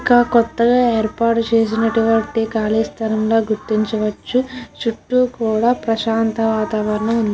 కొత్తగా ఏర్పాటు చేసినటువంటి కాళిస్థలం ల గుర్తించవచ్చు చుట్టూ కూడా ప్రశాంత వాత వరణం వుంది --